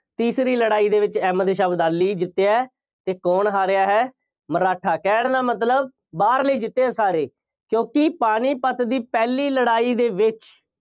ਤੀਸਰੀ ਲੜਾਈ ਦੇ ਵਿੱਚ ਅਹਿਮਦ ਸ਼ਾਹ ਅਬਦਾਲੀ ਜਿੱਤਿਆ ਅਤੇ ਕੌਣ ਹਾਰਿਆ ਹੈ, ਮਰਾਠਾ ਕਹਿਣ ਦਾ ਮਤਲਬ, ਬਾਹਰਲੇ ਜਿੱਤੇ ਆ ਸਾਰੇ। ਕਿਉਂਕਿ ਪਾਣੀਪਤ ਦੀ ਪਹਿਲੀ ਲੜਾਈ ਦੇ ਵਿੱਚ